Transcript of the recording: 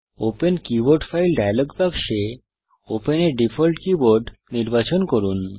open keyboard file dialog বাক্সে open a default keyboard নির্বাচন করুন